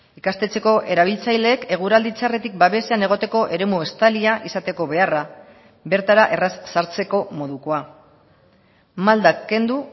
ikastetxeko erabiltzaileek eguraldi txarretik babesean egoteko eremu estalia izateko beharra bertara erraz sartzeko modukoa maldak kendu